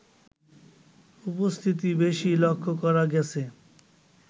উপস্থিতি বেশী লক্ষ্য করা গেছে